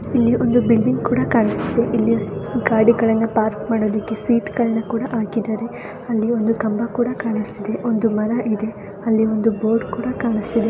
ಇಲ್ಲಿ ಒಂದು ಬಿಲ್ಡಿಂಗ್ ಕೂಡ ಕಾಣಿಸ್ತಿದೆ ಇಲ್ಲಿ ಗಾಡಿಗಳನ್ನ ಪಾರ್ಕ್ ಮಾಡೋದಿಕ್ಕೆ ಸೀಟ್ ಗಳನ್ನ ಕೂಡ ಹಾಕಿದ್ದಾರೆ ಅಲ್ಲಿ ಒಂದು ಕಂಬ ಕೂಡ ಕಾಣಿಸ್ತಿದೆ ಒಂದು ಮರ ಇದೆ ಅಲ್ಲಿ ಒಂದು ಬೋರ್ಡ್ ಕೂಡ ಕಾಣಿಸ್ತಿದೆ.